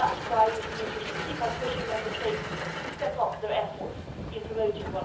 That is why the Commission will keep pushing Member States to step up their efforts in promoting